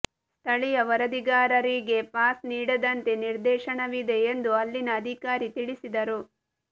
ಸ್ಥಳೀಯ ವರದಿಗಾರರಿಗೆ ಪಾಸ್ ನೀಡದಂತೆ ನಿರ್ದೇಶನವಿದೆ ಎಂದು ಅಲ್ಲಿನ ಅಧಿಕಾರಿ ತಿಳಿಸಿದರು